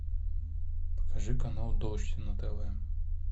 покажи канал дождь на тв